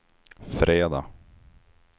fredag